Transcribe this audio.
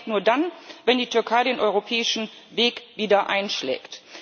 Aber das geht nur dann, wenn die Türkei den europäischen Weg wieder einschlägt.